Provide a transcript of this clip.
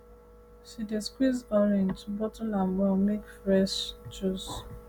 she dey squeeze orange bottle am well make fresh juice